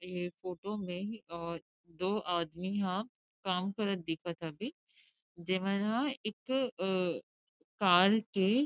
एह फोटो में अ दो आदमी ह काम करत दिखत हवे जे मन हा एक अ कार के--